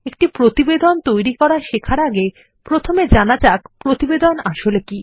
একটি প্রতিবেদন তৈরি করা শেখার আগেপ্রথমে জানা যাকপ্রতিবেদনআসলে কি